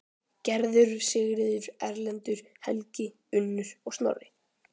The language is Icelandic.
Gerður, Sigríður, Erlendur, Helgi, Unnur og Snorri.